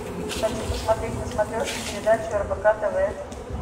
хочу посмотреть на смотрешке передачу рбк тв